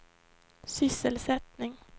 sysselsättning